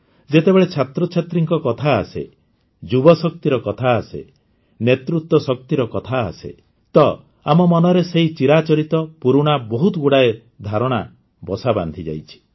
ଯେତେବେଳେ ଛାତ୍ରଛାତ୍ରୀଙ୍କ କଥା ଆସେ ଯୁବଶକ୍ତିର କଥା ଆସେ ନେତୃତ୍ୱ ଶକ୍ତିର କଥା ଆସେ ତ ଆମ ମନରେ ସେହି ଚିରାଚରିତ ପୁରୁଣା ବହୁତ ଗୁଡ଼ାଏ ଧାରଣା ବସା ବାନ୍ଧିଯାଇଛି